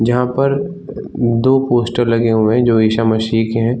जहाँ पर दो पोस्टर लगे हुए हैं जो ईशा मसीह के है।